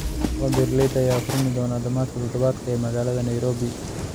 Suuqa beeralayda ayaa furmi doona dhamaadka todobaadkan ee magaalada Nairobi